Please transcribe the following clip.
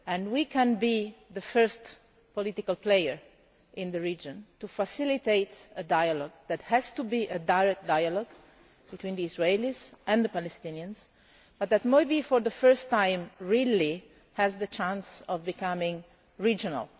We can be the first political player in the region to facilitate a dialogue, which has to be a direct dialogue between the Israelis and the Palestinians, but which maybe, for the first time really, has the chance of becoming regional.